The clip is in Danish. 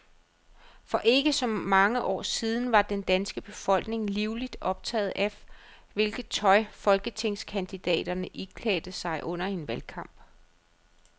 For ikke så mange år siden var den danske befolkning livligt optaget af, hvilket tøj folketingskandidaterne iklædte sig under en valgkamp.